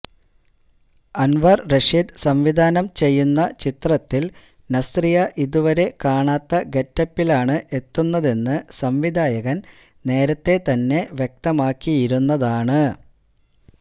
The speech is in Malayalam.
അൻവര് റഷീദ് സംവിധാനം ചെയ്യുന്ന ചിത്രത്തിൽ നസ്രിയ ഇതുവരെ കാണാത്ത ഗെറ്റപ്പിലാണ് എത്തുന്നതെന്ന് സംവിധായകൻ നേരത്തേ തന്നെ വ്യക്തമാക്കിയിരുന്നതാണ്